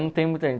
Não tem